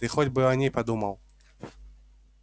ты хоть бы о ней подумал